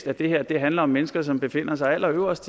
at det her handler om mennesker som befinder sig allerøverst